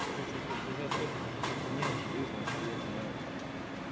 чуть-чуть возбуждается вот как бы неожиданности я знаю